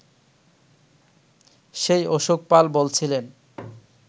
সেই অশোক পাল বলছিলেন